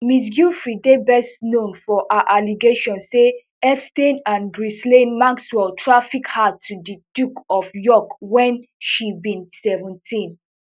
ms giuffre dey best known for her allegations say epstein and ghislaine maxwell traffic her to di duke of york when she be seventeen